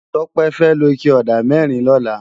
Tope fè ló iké òdá mèrín lòlá